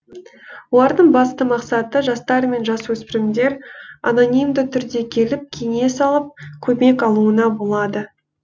олардың басты мақсаты жастар мен жасөспірімдер анонимді түрде келіп кеңес алып көмек алуына болады